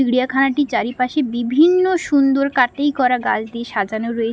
চিড়িয়াখানাটি চারিপাশে বিভিন্ন সুন্দর কাটিং করা গাছ দিয়ে সাজানো রয়ে --